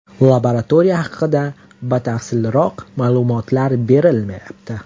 Laboratoriya haqida batafsilroq ma’lumotlar berilmayapti.